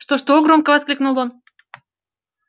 что-что громко воскликнул он